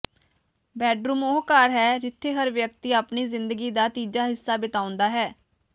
bedroom ਉਹ ਘਰ ਹੈ ਜਿਥੇ ਹਰ ਵਿਅਕਤੀ ਆਪਣੀ ਜ਼ਿੰਦਗੀ ਦਾ ਤੀਜਾ ਹਿੱਸਾ ਬਿਤਾਉਂਦਾ ਹੈ